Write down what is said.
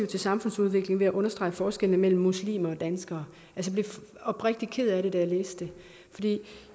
til samfundsudviklingen ved at understrege forskellene mellem muslimer og danskere jeg blev oprigtigt ked af det da jeg læste det